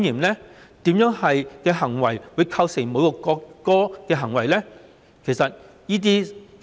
哪些行為會構成侮辱國歌呢？